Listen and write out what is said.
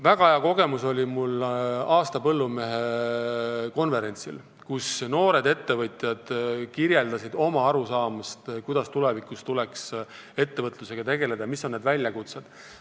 Väga hea kogemuse sain aasta põllumehe konverentsilt, kus noored ettevõtjad kirjeldasid oma arusaamist, kuidas tuleks tulevikus ettevõtlusega tegeleda, mis on need väljakutsed.